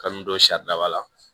Kanu don saridaba la